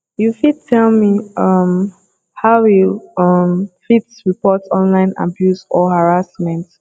you fit tell me um how you um fit report online abuse or harassment